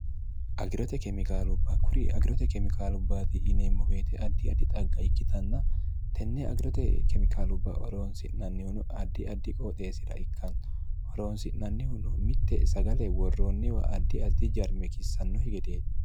agirote kemikaalubba kuri agirote kemikaalubbaati yineemmo weete addi addi xagga ikkitanna tenne agirote kemikaalubba horoonsi'nannihuno addi addi qooxeesira ikkanno horoonsi'nannihuno mitte sagale worroonniwa addi addi jarme kissannokki gedeeti